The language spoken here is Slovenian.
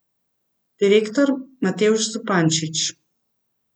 Direktor Matevž Zupančič.